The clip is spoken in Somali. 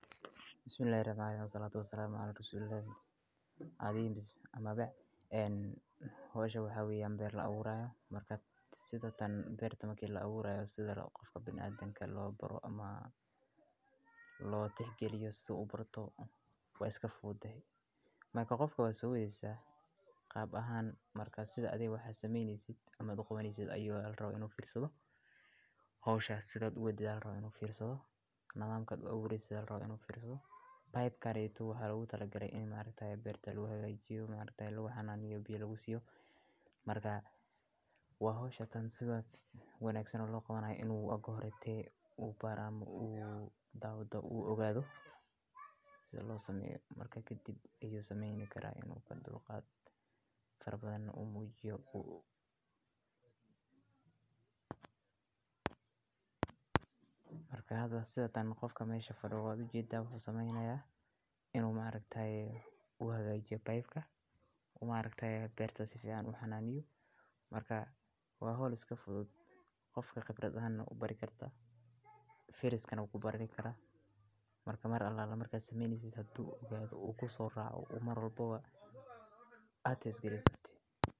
Bismillahi Rahmani Rahim waxaan la raba in asxaabto salama aha in rasuulullah adiimis ama beec. En hoos shabakad wey an ber la abuurayo, markaa sida tan ber tama keena la abuurayo sida loo qofka binacaadan ka loo baro ama loo tix gelin suubato waa iska food ah. Maal kol qofka u soo waydaysaa qaab ahaan markaa sida adeegs waxaa samaynaysid ama duqumaysid ayuu raaw inuu fiirso hoos shaqsiyadda wada raaw inuu fiirso nagaamka awoodda sidoo raaw inuu fiirso. Bayb ka reeytu waxaa lagu talagalay in maareexay ber-talaagayaajiya maareexay luux hanaaniyo bii lugu siiyo. Markaa waa hoosha tan sida waan aqsan loo qabanay inuu aago horreeyay uu baar amma uu daawado uu ogaado si loo sameeyo markaa ka dib ayuu samayn karaa inuu fadlu qaad farbadan u muujiyo uu. Markaada sida tan qofka meesha fadhuudhaadu jii daabacu samaynaya inuu maareexay wuxuga iyo baybka. Kuma aragtay beerta si fiican wax xannaaniyo markaa waa hawl iska fudud qofka khibrad ahna u bari kartaa. Firiiskana kuu barini karaa markaa mar alaala markaa sameyneysid haduu ogaado oo ku soo raaco. U mar walba ah aatees geliya sati.